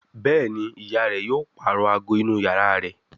Béèni ìyá rẹ yóò parọ àgọ inú iyàrá rẹ.